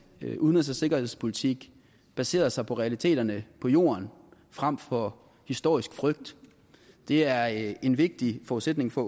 udenrigs og sikkerhedspolitik baserede sig på realiteterne på jorden frem for historisk frygt det er en vigtig forudsætning for